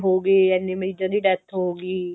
ਹੋਗੇ ਇੰਨੇ ਮਰੀਜਾਂ ਦੀ death ਹੋਗੀ